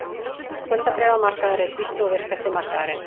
Skuldabréfamarkaður er dýpsti og virkasti markaðurinn